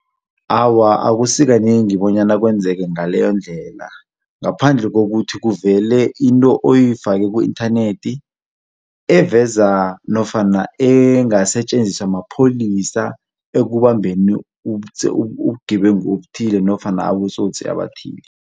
Awa akusikanengi bonyana kwenzeke ngaleyo ndlela ngaphandle kokuthi kuvele into oyifake ku-inthanethi eveza nofana engasetjenziswa mapholisa ekubambeni ubugebengu obuthile nofana abatsotsi abathile.